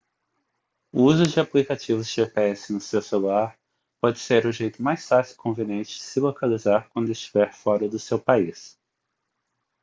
o uso de aplicativos de gps no seu celular pode ser o jeito mais fácil e conveniente de se localizar quando estiver fora do seu país